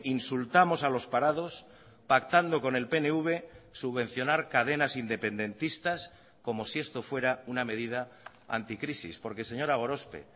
insultamos a los parados pactando con el pnv subvencionar cadenas independentistas como si esto fuera una medida anticrisis porque señora gorospe